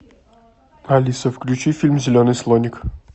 алиса включи фильм зеленый слоник